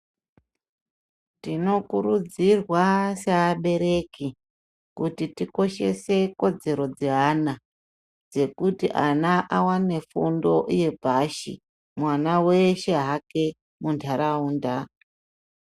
Tinokurudzirwa sevabereki kuti tikoshese kodzero dzevana dzekuti ana awane fundo yepashi mwana weshe hake mundaraunda.